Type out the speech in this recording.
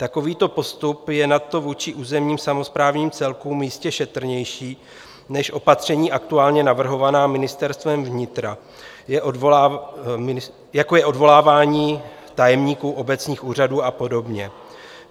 Takovýto postup je nadto vůči územním samosprávným celkům jistě šetrnější než opatření aktuálně navrhovaná Ministerstvem vnitra, jako je odvolávání tajemníků obecních úřadů a podobně.